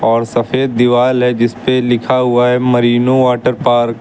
और सफेद दीवाल है जिस पर लिखा हुआ है मरीनों वाटरपार्क ।